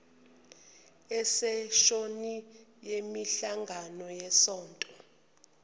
iseshoni yemihlangano yesonto